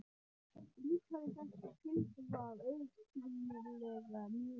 Líkaði þetta tilsvar augsýnilega mjög vel.